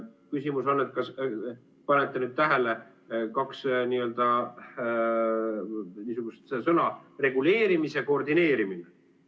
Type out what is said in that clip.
Küsimus on, et kas panete nüüd tähele, kaks niisugust sõna, reguleerimise koordineerimine.